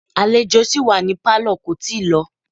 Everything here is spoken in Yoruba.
Àlejò sì wà ní Pálọ̀ kò tíì lọ